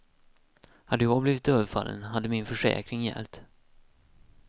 Hade jag blivit överfallen, hade min försäkring gällt.